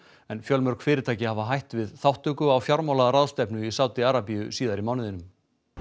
fjölmörg fyrirtæki hafa hætt við þátttöku á fjármálaráðstefnu í Sádi Arabíu síðar í mánuðinum